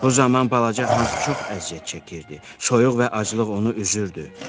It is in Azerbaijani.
Bu zaman balaca hans çox əziyyət çəkirdi, soyuq və aclıq onu üzürdü.